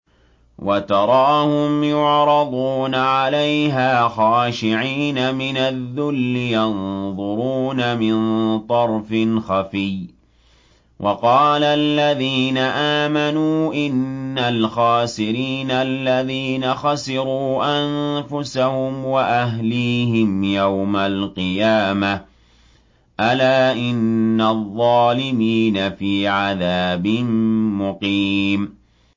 وَتَرَاهُمْ يُعْرَضُونَ عَلَيْهَا خَاشِعِينَ مِنَ الذُّلِّ يَنظُرُونَ مِن طَرْفٍ خَفِيٍّ ۗ وَقَالَ الَّذِينَ آمَنُوا إِنَّ الْخَاسِرِينَ الَّذِينَ خَسِرُوا أَنفُسَهُمْ وَأَهْلِيهِمْ يَوْمَ الْقِيَامَةِ ۗ أَلَا إِنَّ الظَّالِمِينَ فِي عَذَابٍ مُّقِيمٍ